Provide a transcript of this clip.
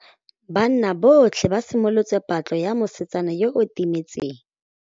Banna botlhê ba simolotse patlô ya mosetsana yo o timetseng.